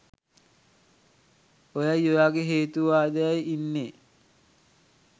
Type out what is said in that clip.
ඔයයි ඔයාගේ හේතුවාදෙයි ඉන්නේ